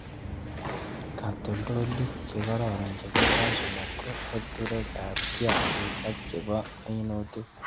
Katoltolik chekororon chebo cashew nut ko eturekab kiakik ak chebo minutik